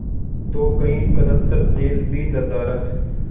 तो कई कनस्तर तेल भी नदारत